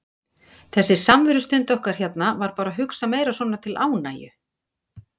Þessi samverustund okkar hérna var bara hugsuð meira svona til ánægju.